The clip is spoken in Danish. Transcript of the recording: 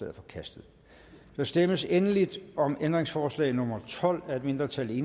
er forkastet der stemmes endelig om ændringsforslag nummer tolv af et mindretal